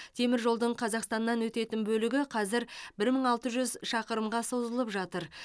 теміржолдың қазақстаннан өтетін бөлігі қазір бір мың алты жүз шақырымға созылып жатыр